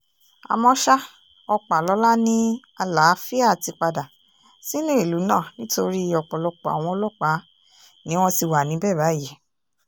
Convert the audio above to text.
àmọ́ ṣá ọpàlọ́lá ni àlàáfíà ti padà sínú ìlú náà nítorí ọ̀pọ̀lọpọ̀ àwọn ọlọ́pàá ni wọ́n ti wà níbẹ̀ báyìí